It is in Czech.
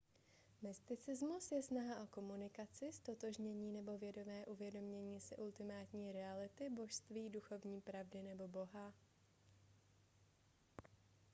mysticismus je snaha o komunikaci ztotožnění nebo vědomé uvědomění si ultimátní reality božství duchovní pravdy nebo boha